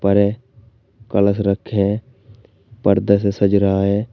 बड़े कलश रखें है पर्दे से सज रहा है।